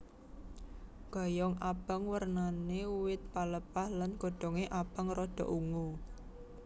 Ganyong abang wernané wit pelepah lan godhongé abang rada ungu